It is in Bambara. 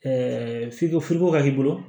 f'i ko ko ka k'i bolo